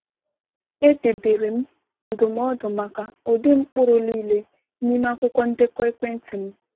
Edebere m ndụmọdụ maka ụdị mkpụrụ niile n’ime akwụkwọ ndekọ ekwentị m.